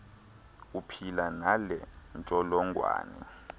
uphila nale ntsholongwane